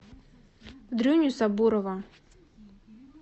дрюню сабурова